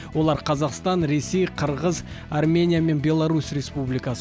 олар қазақстан ресей қырғыз армения мен беларусь республикасы